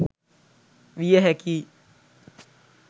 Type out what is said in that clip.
විය හැකියි.